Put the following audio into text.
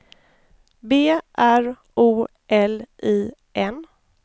B R O L I N